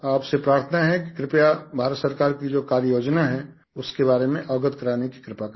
आपसे प्रार्थना है कि कृपया भारत सरकार की जो कार्ययोजना है उसके बारे में अवगत करवाने की कृपा करें